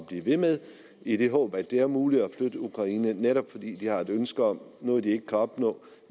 blive ved med i det håb at det er muligt at flytte ukraine netop fordi de har et ønske om noget de ikke kan opnå